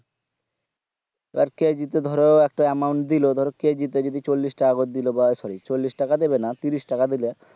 আর KG তে ধরো একটা amount দিলে ধরো কেজি তে যদি চল্লিশ টাকা করে দিলে বা sorry চল্লিশ টাকা দিবে না তিরিশ টাকা দিলে